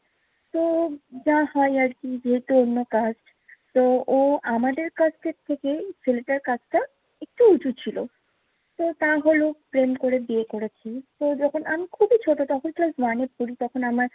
তো যা হয় আরকি, যেহেতু অন্য কাস্ট তো ও আমাদের caste থেকে ছেলেটার caste টা একটু উঁচু ছিল। তো তাহলেও প্রেম করে বিয়ে করেছে। তো যখন আমি খুবই ছোট, তখন ক্লাস one এ পড়ি। তখন আমার